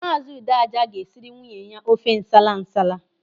Maazi Udeaja ga-esiri nwunye ya ofe nsala nsala.